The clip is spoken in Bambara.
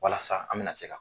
Walasa an be na se ka